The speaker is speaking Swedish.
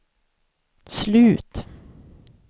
slut